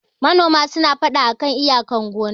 manona suna fada a kan iyakar gonna